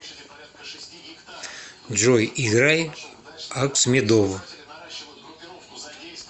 джой играй аксмедов